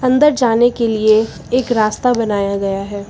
अंदर जाने के लिए एक रास्ता बनाया गया है।